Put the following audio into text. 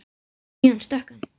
Síðan stökk hann.